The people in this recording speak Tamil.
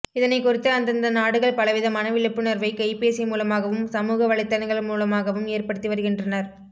இதனை குறித்து அந்தந்த நாடுகள் பலவிதமான விழிப்புணர்வை கைபேசி மூலமாகவும் சமூக வலைத்தளங்கள் மூலமாகவும் ஏற்படுத்தி வருகின்றனர்